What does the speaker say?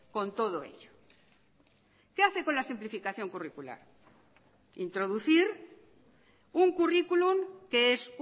con todo ello qué hace con la simplificación curricular introducir un currículum que es